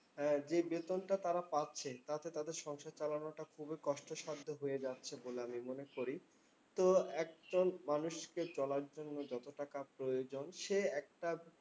আহ যেই বেতনটা তারা পাচ্ছেন তাতে তাদের সংসার চালানো খুবই কষ্টসাদ্ধ হয়ে যাচ্ছে বলে আমি মনে করি। তো একদল মানুষকে চলার জন্য যত টাকা প্রয়োজন সে একটা